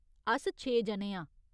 अस छे जने आं।